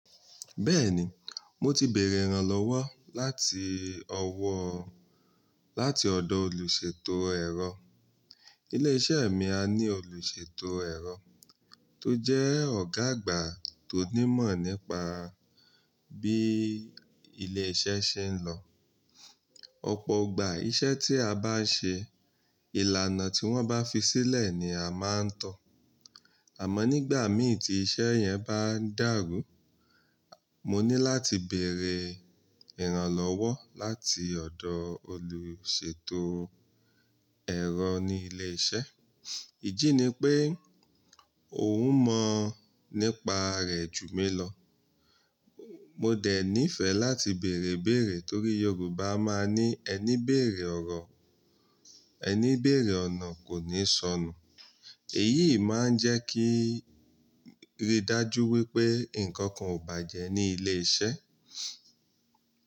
Bẹ́ẹ̀ni, mo ti bèèrè ìrànlọ́wọ́ lati owo láti ọ̀dọ̀ olùsètò ẹ̀rọ. Ní ilé iṣẹ́ mi, a ní olùsètò ẹ̀rọ tó jẹ́ ọ̀gá àgbà tó ní mọ̀ nípa bí ilé iṣẹ́ ṣe ń lọ. Ọ̀pọ̀ ìgbà iṣẹ́ tí a bá ń ṣe, ìlànà tí wọ́n bá fi sílẹ̀ ni a máa ń tọ̀. Àmọ́ nígbà mìíràn tí iṣẹ́ yẹn bá dàrú, mo ní láti bèèrè ìrànlọ́wọ́ láti ọ̀dọ̀ olùsètò ẹ̀rọ ní ilé iṣẹ́. Ìdí ni pé òun mọ̀ nípa rẹ̀ jù mí lọ. Mo dẹ̀ nífẹ̀ẹ́ láti bèèrè bèèrè torí Yorùbá máa ní, "Ẹni béèrè ọ̀nà kò ní sọnù." Èyí máa ń jẹ́ kí n rí dájú wípé nǹkan kan ò bàjẹ́ ní ilé iṣẹ́.